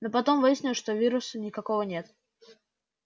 но потом выяснилось что вируса никакого нет